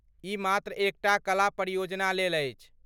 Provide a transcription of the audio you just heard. ई मात्र एक टा कला परियोजनालेल अछि।